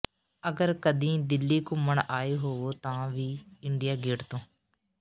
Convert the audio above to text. ਅਗਰ ਕਦੀਂ ਦਿੱਲੀ ਘੁੰਮਣ ਆਏ ਹੋਵੋ ਤਾਂ ਵੀ ਇੰਡੀਆ ਗੇਟ ਤੋਂ